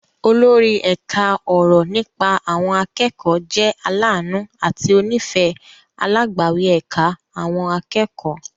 Olórí ẹ̀ka ọ̀rọ̀ nípa àwọn akẹ́kọ̀ọ́ jẹ́ aláàánú àti onífẹ̀ẹ́ alágbàwí ẹ̀ka àwọn akẹ́kọ̀ọ́.